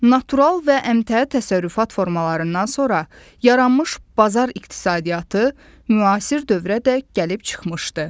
Natural və əmtəə təsərrüfat formalarından sonra yaranmış bazar iqtisadiyyatı müasir dövrə dək gəlib çıxmışdı.